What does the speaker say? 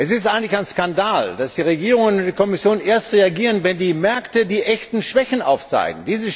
Es ist eigentlich ein Skandal, dass die Regierungen und die Kommission erst reagieren, wenn die Märkte die echten Schwächen aufzeigen.